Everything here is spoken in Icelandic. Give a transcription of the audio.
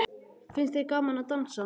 Finnst þér gaman að dansa?